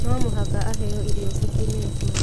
No mũhaka aheo irio cikimĩtwo